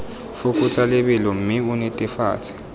fokotsa lebelo mme o netefatse